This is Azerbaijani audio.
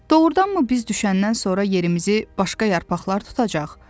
Doğurdanmı biz düşəndən sonra yerimizi başqa yarpaqlar tutacaq?